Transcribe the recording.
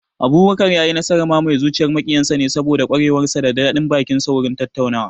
Abubakar ya yi nasarar mamaye zuciyar maƙiyan sa ne saboda ƙwarewar sa da daɗin baki wurin tattaunawa